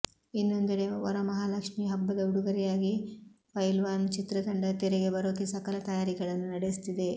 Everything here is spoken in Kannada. ಇನ್ನೊಂದೆಡೆ ವರಮಹಾಲಕ್ಷ್ಮೀ ಹಬ್ಬದ ಉಡುಗೊರೆಯಾಗಿ ಪೈಲ್ವಾನ್ ಚಿತ್ರತಂಡ ತೆರೆಗೆ ಬರೋಕೆ ಸಕಲ ತಯಾರಿಗಳನ್ನು ನಡೆಸುತ್ತಿದೆ